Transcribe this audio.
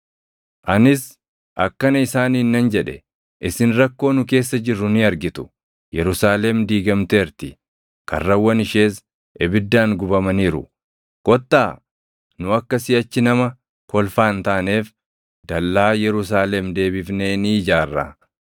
Anis akkana isaaniin nan jedhe; “Isin rakkoo nu keessa jirru ni argitu; Yerusaalem diigamteerti; karrawwan ishees ibiddaan gubamaniiru. Kottaa nu akka siʼachi nama kolfaa hin taaneef dallaa Yerusaalem deebifnee ni ijaarraa.”